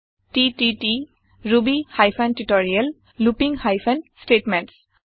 TTT Ruby hyphen tutorial looping hyphen statements